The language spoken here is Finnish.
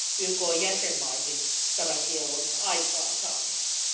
YKn jäsenmaihin tämän kiellon aikaansaamiseksi.